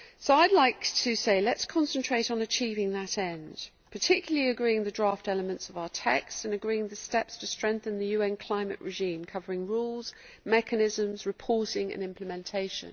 I would like to say let us concentrate on achieving that end, particularly agreeing the draft elements of our text, and agreeing the steps to strengthen the UN climate regime covering rules, mechanisms, reporting and implementation.